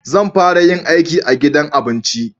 Zan fara yin aiki a gidan abinci